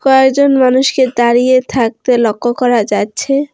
কয়েকজন মানুষকে দাঁড়িয়ে থাকতে লক্ষ্য করা যাচ্ছে।